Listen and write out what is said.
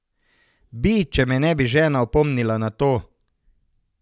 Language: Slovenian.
Bi, če me ne bi žena opomnila na to.